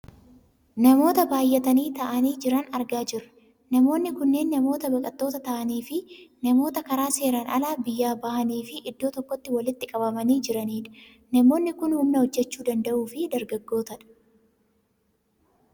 Namoota baayyatanii taa'anii jiran argaa jirra. Namoonni kunneen namoota baqattoota ta'aniifi namoota karaa seeraan alaa biyyaa bahani fi iddoo tokkotti walitti qabamanii jiranidha. Namoonni kun humna hojjachuu danda'uu fi dargootadha.